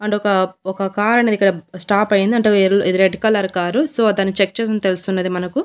And ఒక-ఒక car అనేది ఇక్కడ స్టాప్ అయ్యింది. అంటే ఎల్ ఇది రెడ్ కలర్ కారు సో దాన్ని చెక్ చేస్తుంది తెలుస్తున్నది మనకు.